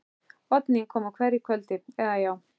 Oddný kom á hverju kvöldi, eða, já.